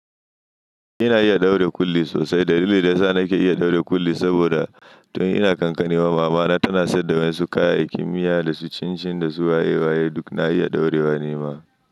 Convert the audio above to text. Ina iya ɗaure kulli sosai. Dalilin da yasa nake iya ɗaure kulli saboda tun ina ƙanƙanewa mama na tana sayar da masu kayayakkin miya, da su cin-cin, da su waye-waye. Duk na iya daurewa nima.